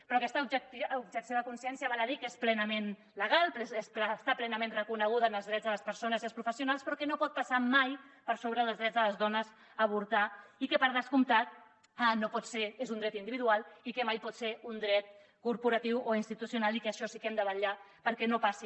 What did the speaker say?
però aquesta objecció de consciència val a dir que és plenament legal està plenament reconeguda en els drets de les persones i els professionals però que no pot passar mai per sobre dels drets de les dones a avortar i que per descomptat és un dret individual i que mai pot ser un dret corporatiu o institucional i que això sí que ho hem de vetllar perquè no passi